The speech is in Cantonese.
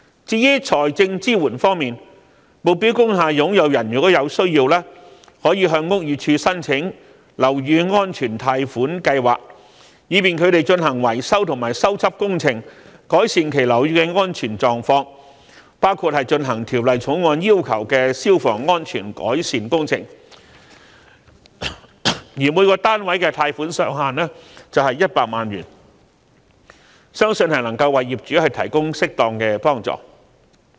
至於財政支援方面，目標工廈擁有人如果有需要，亦可向屋宇署申請樓宇安全貸款計劃，以便他們進行維修和修葺工程，改善其樓宇的安全狀況，包括進行《條例草案》要求的消防安全改善工程，每個單位的貸款上限是100萬元，相信能夠為業主提供適當的幫助。